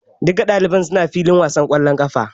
Duka ɗalibai su na filin wasan kwallon ƙafa.